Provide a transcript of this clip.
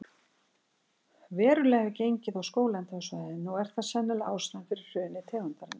Verulega hefur gengið á skóglendið á svæðinu og er það sennilega ástæðan fyrir hruni tegundarinnar.